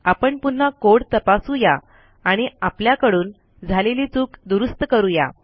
आपण पुन्हा कोड तपासू या आणि आपल्याकडून झालेली चूक दुरूस्त करू या